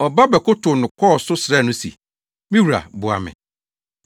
Ɔba bɛkotow no kɔɔ so srɛɛ no se, “Me wura, boa me!”